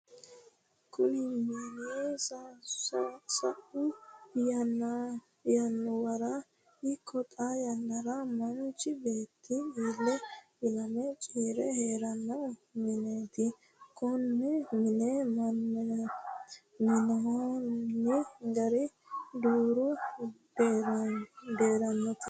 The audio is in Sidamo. kuni mini sa'u yannuwara ikko xaa yannara manchi beetti ile ilame ciire heeranno mineeti. konne mine minnanni gari deerru deeruniiti.